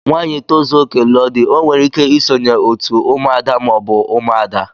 Nwanyi tozuoke, lụọ di o nwere ike isonye otú ụmụ ada ma ọbu ụmụada.